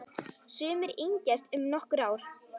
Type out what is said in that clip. Sumir yngjast um nokkur ár.